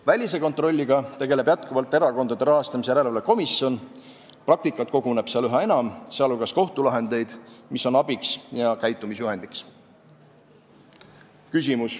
Välise kontrolliga tegeleb ka Erakondade Rahastamise Järelevalve Komisjon, praktikat koguneb seal üha enam, sh kohtulahendeid, mis on abiks ja käitumisjuhendiks.